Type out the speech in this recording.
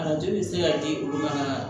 Arajo bɛ se ka di olu ma